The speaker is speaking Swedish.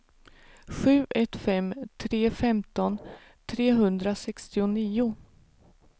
sju ett fem tre femton trehundrasextionio